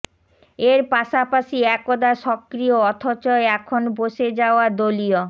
এর পাশাপাশি একদা সক্রিয় অথচ এখন বসে যাওয়া দলীয়